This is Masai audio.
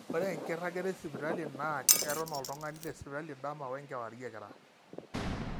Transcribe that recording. ore enkiragata esipitali naa eton oltung'ani tesipitali dama wenkewariekira